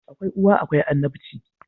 Akwai uwa akwai annabci